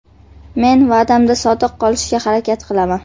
Men va’damga sodiq qolishga harakat qilaman.